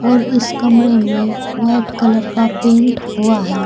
और इस कमरे में वाइट कलर का पेंट हुआ है।